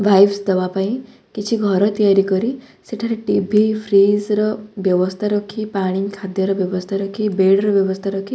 vibes ଦେବା ପାଇଁ କିଛି ଘର ତିଆରି କରି ସେଠାରେ ଟିଭି ଫ୍ରିଜ ର ବ୍ୟବସ୍ଥା ରଖି ପାଣି ଖାଦ୍ୟର ବ୍ୟବସ୍ଥା ରଖି ବେଡ୍‌ ର ବ୍ୟବସ୍ଥା ରଖି--